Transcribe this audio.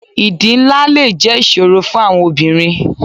Ìdí ńlá le jẹ́ ìṣòro fún àwọn obìnrin.